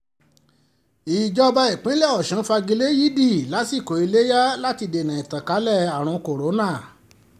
um ìjọba ìpínlẹ̀ ọ̀sùn fagi lé yídi yídi ìásikò iléyà um láti dènà ìtànkalẹ̀ àrùn kọ́ńtà